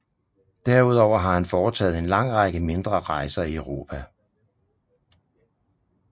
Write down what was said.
Derudover har han foretaget en lang række mindre rejser i Europa